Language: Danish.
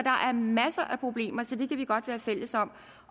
er masser af problemer så det kan vi godt være fælles om